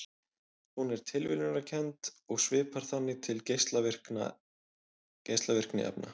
Hún er tilviljunarkennd og svipar þannig til geislavirkni efna.